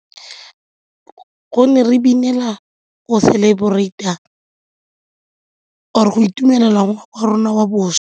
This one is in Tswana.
Gonne re binela go celebrate-a or-e go itumelela wa rona wa bošwa.